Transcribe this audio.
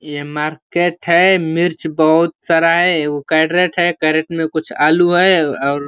ये मार्केट है मिर्च बहुत सारा है एगो कैरट है कैरट में कुछ आलू है और --